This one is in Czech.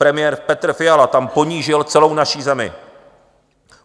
Premiér Petr Fiala tam ponížil celou naší zemi.